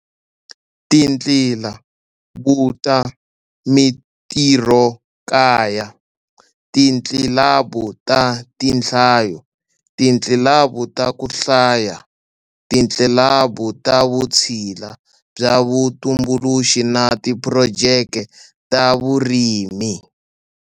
Titlilabu ta mitirhokaya, titlilabu ta tinhlayo, titlilabu ta ku hlaya, titlilabu ta vutshila bya vutumbuluxi na tiphurojeke ta vurimi.